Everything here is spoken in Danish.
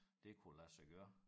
Det kunne lade sig gøre